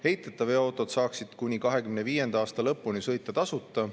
Heiteta veoautod saaksid kuni 2025. aasta lõpuni sõita tasuta.